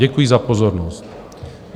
Děkuji za pozornost.